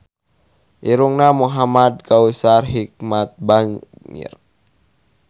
Irungna Muhamad Kautsar Hikmat bangir